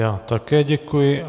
Já také děkuji.